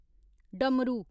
डमरू